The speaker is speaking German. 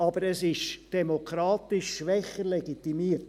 Aber es ist demokratisch schwächer legitimiert.